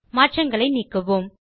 மாற்றங்களை நீக்குவோம்